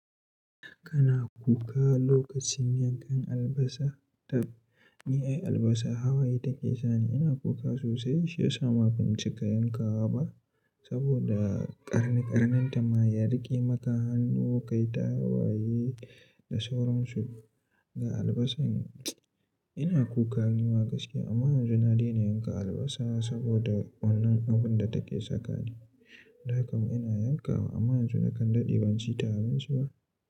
Kana kuka lokacin yankan albasa? Tab, ni ai albasa hawaye take sani. Ina kuka sosai shi yasa ma ban cika yankawa ba saboda ƙarni ƙarnin ta ma ya riƙe maka hannu, kai ta waye da sauransu. Ga albasar, ina kuka nima gaskiya. Amma yanzu na daina yanka albasa saboda wannan abun da take saka ni. Da kam ina yanka wa amma yanzu nakan daɗe ban ci tarin su ba.